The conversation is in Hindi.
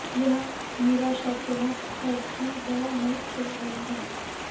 यह निराशाजनक है कि वह नहीं खेल रहे हैं